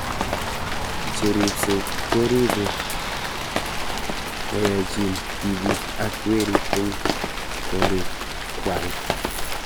Che ripsei ko kiripe koyaechin tipik ak werik eng' korik kwai